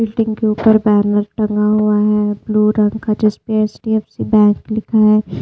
Building के ऊपर banner टंगा हुआ है ब्लू रंग का जिसपे एच_डी_एफ_सी बैंक लिखा है।